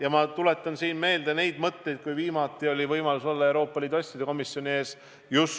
Ja ma tuletan siin meelde neid mõtteid, kui mul oli viimati võimalus olla Euroopa Liidu asjade komisjoni ees.